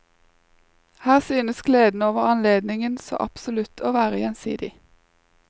Her synes gleden over anledningen så absolutt å være gjensidig.